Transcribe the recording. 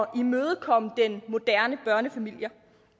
at imødekomme den moderne børnefamilie